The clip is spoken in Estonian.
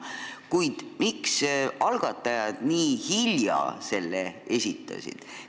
Kuid miks algatajad esitasid selle nii hilja?